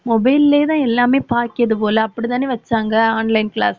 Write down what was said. mobile லயேதான் எல்லாமே பாக்கியது போல அப்படித்தானே வச்சாங்க online class